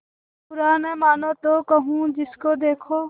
बुरा न मानों तो कहूँ जिसको देखो